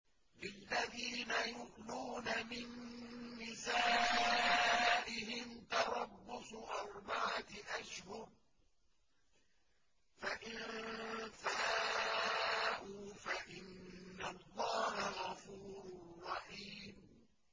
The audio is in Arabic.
لِّلَّذِينَ يُؤْلُونَ مِن نِّسَائِهِمْ تَرَبُّصُ أَرْبَعَةِ أَشْهُرٍ ۖ فَإِن فَاءُوا فَإِنَّ اللَّهَ غَفُورٌ رَّحِيمٌ